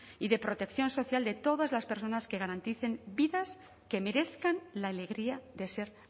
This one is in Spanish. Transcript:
y de protección social de todas las personas que garanticen vidas que merezcan la alegría de ser